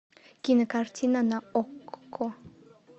кинокартина на окко